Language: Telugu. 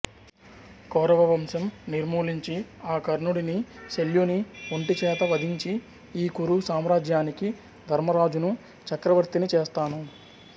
కౌరవవంశం నిర్మూలించి ఆ కర్ణుడిని శల్యుని ఒంటి చేత వధించి ఈ కురు సామ్రాజ్యానికి ధర్మరాజును చక్రవర్తిని చేస్తాను